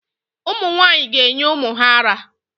Ụmụ nwaanyị ga-enye ụmụ ha ara